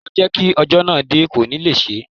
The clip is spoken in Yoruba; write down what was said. Ìwọ jẹ́ kí ọjọ́ náà dé, kò ní le ṣé.